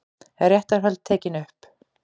Réttarhöld tekin upp